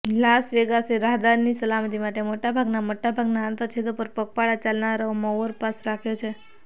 Las વેગાસે રાહદારીની સલામતી માટે મોટાભાગના મોટાભાગનાં આંતરછેદો પર પગપાળા ચાલનારાઓ માં ઓવરપાસ રાખ્યો છે